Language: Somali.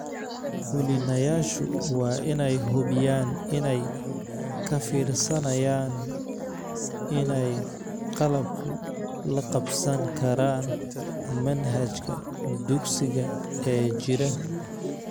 Fulinayaashu waa inay hubiyaan inay ka fiirsanayaan inay qalabku la qabsan karaan manhajka dugsiga ee jira.